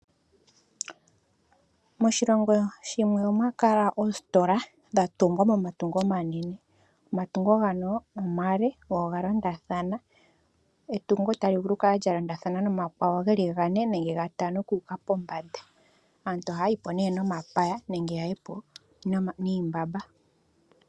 Moshilongo shimwe omwa kala oositola dha tungwa momatungo omanene. Omatungo ngano ale, go oga londathana. Etungo tali vulu oku kala lya londathana momatungo geli gane nenge gatano oku uka pombanda. Aantu ohaya yi po nee momapya nenge yaye po niimbamba.